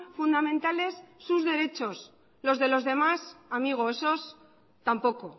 fundamentales sus derechos los de los demás amigo esos tampoco